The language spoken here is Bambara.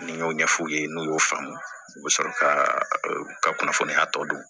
Ni n y'o ɲɛf'u ye n'u y'o faamu u bɛ sɔrɔ ka kunnafoniya tɔ dun